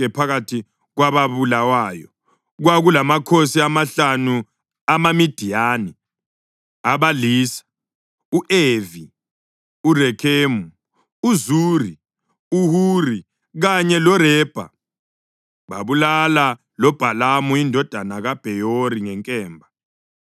Phakathi kwababulawayo kwakulamakhosi amahlanu amaMidiyani abalisa u-Evi, uRekhemu, uZuri, uHuri kanye loRebha. Babulala loBhalamu indodana kaBheyori ngenkemba.